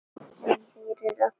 En ég heyri raddir.